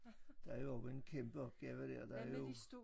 Der er jo også en kæmpe opgave der er jo